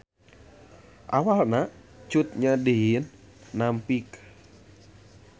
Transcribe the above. Awalna Cut Nyak Dhien nampik